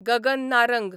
Gagan Narang